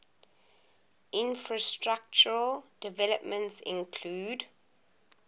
infrastructural developments include